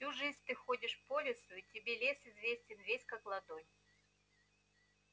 всю жизнь ты ходишь по лесу и тебе лес известен весь как ладонь